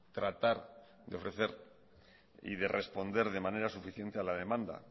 tratar de ofrecer y de responder de manera suficiente a la demanda